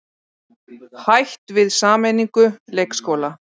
Hætt við sameiningu leikskóla